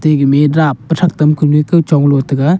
igme dap pu thak tam kunu kao chong lo taga.